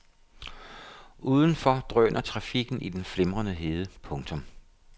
Udenfor drøner trafikken i den flimrende hede. punktum